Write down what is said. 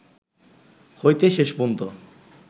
হইতে শেষ পর্যন্ত